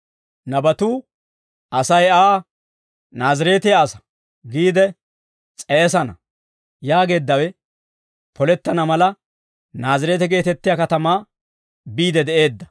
Nabatuu, «Asay Aa, ‹Naazireetiyaa asaa› giide s'eesana» yaageeddawe polettana mala, Naazireete geetettiyaa katamaa biide de'eedda.